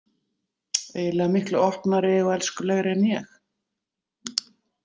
Eiginlega miklu opnari og elskulegri en ég.